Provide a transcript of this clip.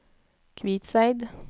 Kvitseid